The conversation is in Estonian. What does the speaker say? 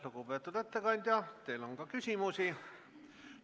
Lugupeetud ettekandja, teile on ka küsimusi.